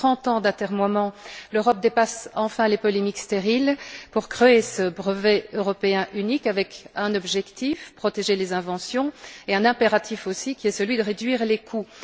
Après trente ans d'atermoiements, l'Europe dépasse enfin les polémiques stériles pour créer ce brevet européen unique, avec un objectif, celui de protéger les inventions et un impératif aussi, qui est de réduire les coûts.